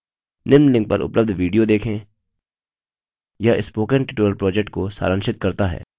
निम्न link पर उपलब्ध video देखें यह spoken tutorial project को सारांशित करता है